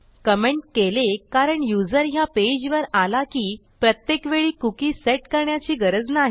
comment केले कारण user ह्या पेजवर आला की प्रत्येक वेळी कुकी सेट करण्याची गरज नाही